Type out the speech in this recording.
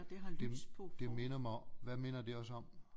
Det det minder mig hvad minder det os om